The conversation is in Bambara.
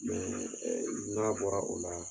n'a bɔra o la